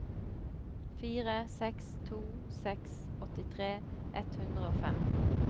fire seks to seks åttitre ett hundre og fem